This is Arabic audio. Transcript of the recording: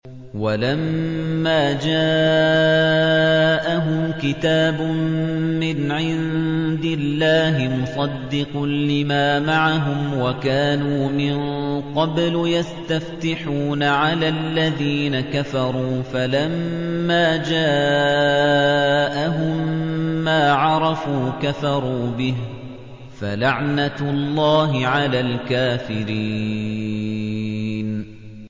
وَلَمَّا جَاءَهُمْ كِتَابٌ مِّنْ عِندِ اللَّهِ مُصَدِّقٌ لِّمَا مَعَهُمْ وَكَانُوا مِن قَبْلُ يَسْتَفْتِحُونَ عَلَى الَّذِينَ كَفَرُوا فَلَمَّا جَاءَهُم مَّا عَرَفُوا كَفَرُوا بِهِ ۚ فَلَعْنَةُ اللَّهِ عَلَى الْكَافِرِينَ